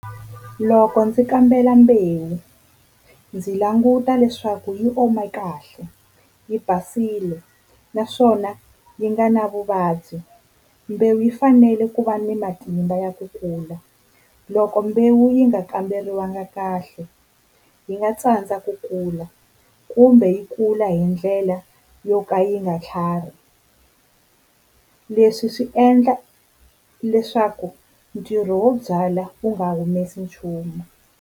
Loko ndzi kambela mbewu ndzi languta leswaku yi ome kahle, yi basile naswona yi nga na vuvabyi. Mbewu yi fanele ku va ni matimba ya ku kula loko mbewu yi nga kamberiwanga kahle yi nga tsandza ku kula kumbe yi kula hi ndlela yo ka yi nga tlhari. Leswi swi endla leswaku ntirho wo byala wu nga humesi nchumu.